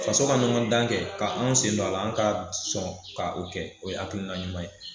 Faso ka ɲɔgɔndan kɛ ka anw sen don a la an ka sɔn ka o kɛ o ye akiina ɲuman ye